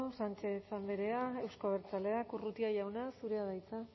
sánchez andrea euzko abertzaleak urrutia jauna zurea da hitza